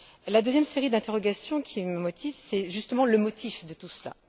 La deuxième série d'interrogations qui me motive, c'est justement le motif de tout cela.